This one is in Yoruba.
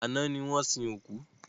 Àná ní wọ́n sin òkú.